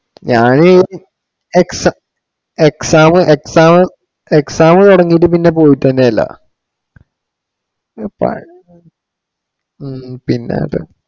ഞാനീ exa~ exam exam exam തുടങ്ങിയിട്ട് പിന്നെ പോയിട്ട് തന്നെ ഇല്ല. ഹും പിന്നെ അത്